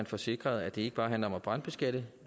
får sikret at det ikke bare handler om at brandbeskatte